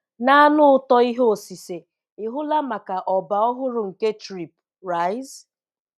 Na-anụ ụtọ ihe osise ị hụla maka ọba ọhụrụ nke Trip, Rise?